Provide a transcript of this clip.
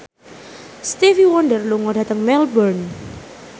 Stevie Wonder lunga dhateng Melbourne